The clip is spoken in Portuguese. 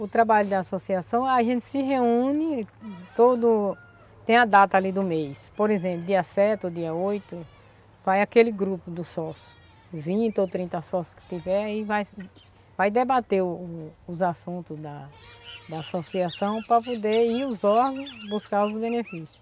O trabalho da associação, a gente se reúne, todo... tem a data ali do mês, por exemplo, dia sete ou dia oito, vai aquele grupo dos sócios, vinte ou trinta sócios que tiver e vai vai debater o os assuntos da da associação para poder ir aos órgãos buscar os benefícios.